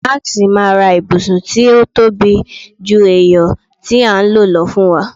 Max ma ra ibusun ti o tobi ju eyo ti a n lo lọ fún wa